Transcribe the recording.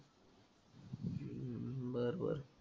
हम्म बरं बरं.